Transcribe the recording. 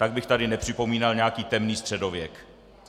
Tak bych tady nepřipomínal nějaký temný středověk.